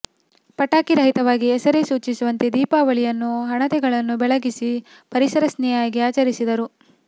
ಪಟಾಕಿ ರಹಿತವಾಗಿ ಹೆಸರೇ ಸೂಚಿಸುವಂತೆ ದೀಪಾವಳಿಯನ್ನು ಹಣತೆಗಳನ್ನು ಬೆಳಗಿಸಿ ಪರಿಸರ ಸ್ನೇಹಿಯಾಗಿ ಆಚರಿಸಿದರು